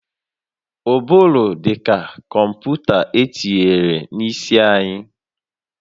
Ụbụrụ dị ka kọmputa etinyere n'isi anyị